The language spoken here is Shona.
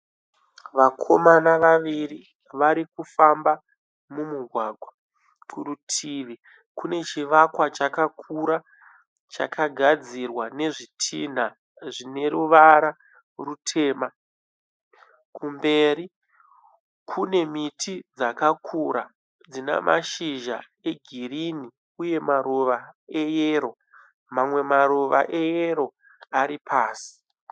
Vakomana vaviri varikufamba mumugwagwa. Kurutivi kune chivakwa chakakura chakagadzirwa nezvitinha zvineruvara rutema. Kumberi kune miti dzakakura dzine mashizha egirinhi uye maruva eyero. Mamwe maruva eyero aripasi.